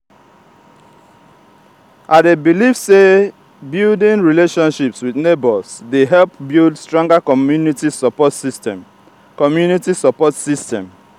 i dey believe say building relationships with neighbors dey help build stronger community support system. community support system.